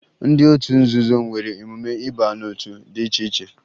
Ndị otu nzuzo nwere emume ịba n'otu dị iche iche